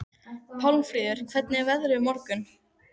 Pálmfríður, hvernig verður veðrið á morgun?